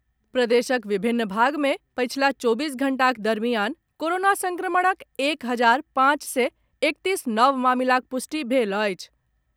प्रदेशक विभिन्न भाग मे पछिला चौबीस घंटाक दरमियान कोरोना संक्रमणक एक हजार पांच सय एकतीस नव मामिलाक पुष्टि भेल अछि।